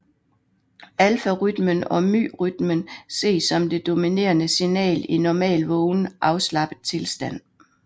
Alfarytmen og myrytmen ses som det dominerende signal i normal vågen afslappet tilstand